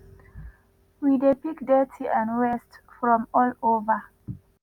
“we dey pick dirty and wastes from all over